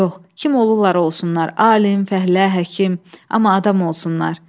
Yox, kim olurlar olsunlar, alim, fəhlə, həkim, amma adam olsunlar.